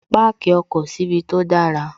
Páàkì ọkọ̀ síbi tó dára